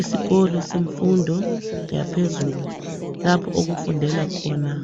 Isikolo semfundo yaphezulu. Lapho okufundela khona